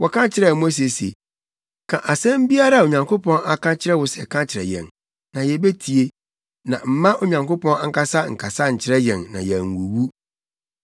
Wɔka kyerɛɛ Mose se, “Ka asɛm biara a Onyankopɔn aka akyerɛ wo sɛ ka kyerɛ yɛn, na yebetie. Na mma Onyankopɔn ankasa nkasa nkyerɛ yɛn na yɛanwuwu.”